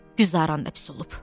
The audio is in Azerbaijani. Güzəran da pis olub.